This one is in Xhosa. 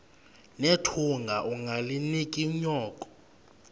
nethunga ungalinik unyoko